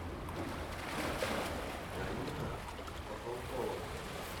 галина похалкова